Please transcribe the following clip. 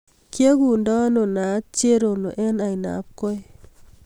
Kiekundo ano naaat cherono eng ainabkoi